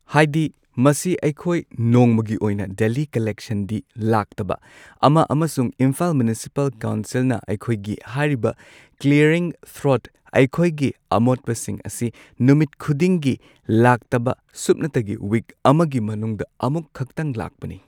ꯍꯥꯏꯗꯤ ꯃꯁꯤ ꯑꯩꯈꯣꯏ ꯅꯣꯡꯃꯒꯤ ꯑꯣꯏꯅ ꯗꯦꯂꯤ ꯀꯜꯂꯦꯛꯁꯟꯗꯤ ꯂꯥꯛꯇꯕ ꯑꯃ ꯑꯃꯁꯨꯡ ꯏꯝꯐꯥꯜ ꯃ꯭ꯌꯨꯅꯤꯁꯤꯄꯥꯜ ꯀꯥꯎꯟꯁꯤꯜꯅ ꯑꯩꯈꯣꯏꯒꯤ ꯍꯥꯏꯔꯤꯕ ꯀ꯭ꯂꯤꯌꯔꯤꯡ ꯊ꯭ꯔꯣꯗ ꯑꯩꯈꯣꯏꯒꯤ ꯑꯃꯣꯠꯄꯁꯤꯡ ꯑꯁꯤ ꯅꯨꯃꯤꯠ ꯈꯨꯗꯤꯡꯒꯤ ꯂꯥꯛꯇꯕ ꯁꯨꯞꯅꯇꯒꯤ ꯋꯤꯛ ꯑꯃꯒꯤ ꯃꯅꯨꯡꯗ ꯑꯃꯨꯛꯈꯛꯇꯪ ꯂꯥꯛꯄꯅꯤ꯫